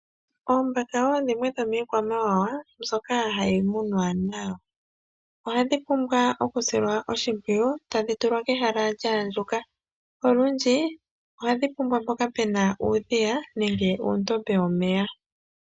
Iimbaka wo dhimwe dhomiikwamawawa ndyoka hayi munwa nayo ohadhi pumbwa okusilwa oshipwiyu. Tadhi tulwa pehala lya andjuka. Olundji ohadhi pumbwa mpoka pena uudhiya nenge uundombe womeya.